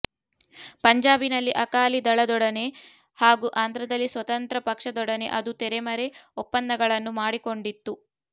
ಪಂಜಾಬಿನಲ್ಲಿ ಅಕಾಲಿ ದಳದೊಡನೆ ಹಾಗೂ ಆಂಧ್ರದಲ್ಲಿ ಸ್ವತಂತ್ರ ಪಕ್ಷದೊಡನೆ ಅದು ತೆರೆಮರೆ ಒಪ್ಪಂದಗಳನ್ನು ಮಾಡಿಕೊಂಡಿತ್ತು